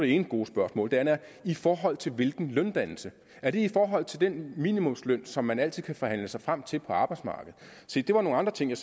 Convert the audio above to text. ene gode spørgsmål det andet er i forhold til hvilken løndannelse er det i forhold til den minimumsløn som man altid kan forhandle sig frem til på arbejdsmarkedet se det var nogle andre ting jeg